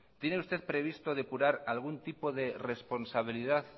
tiene usted previsto depurar algún tipo de responsabilidad